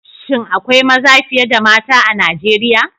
Shin akwai maza fiye da mata a Nigeriya?